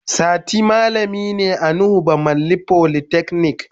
Sati malami ne a Nuhu bamalli folytechnic.